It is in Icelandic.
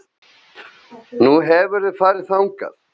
Nú, hefurðu farið þangað?